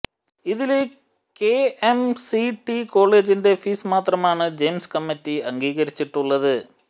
ഇതില് കെഎംസിടി കോളേജിന്റെ ഫീസ് മാത്രമാണ് ജയിംസ് കമ്മറ്റി അംഗീകരിച്ചിട്ടുള്ളത്